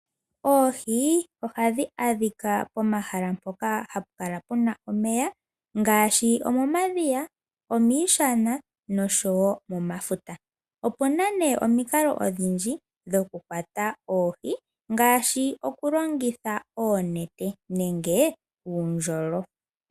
Oohi ohadhi adhika pomahala mpoka hapu kala omeya ngashi omomadhiya, miishana oshowo momafuta. Opuna iimikalo odhindji dhoku kwata oohi ngashi oku longitha onete nenge uundjolo.